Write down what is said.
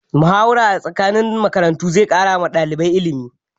Muhawara tsakanin makarantu zai ƙara wa ɗalibai illimi.